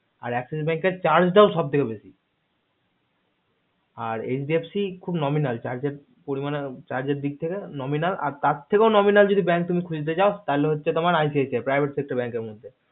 আর axis bank এর charge টাও সবথেকে বেশি আর hdfc খুব nominal charge এর পরিমাণে charge এর দিক থেকে nominal আর তার থেকেও nominal যদি bank তুমি খুজতে চাও তালে হচ্ছে তোমার ICICI private sector bank এর মধ্যে